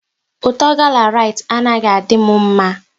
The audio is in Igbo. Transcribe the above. Ụtọ gala Rite anaghị adị m mma